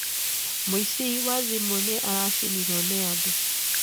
Mũici wa thimũ nĩ aracinirũo nĩ andũ.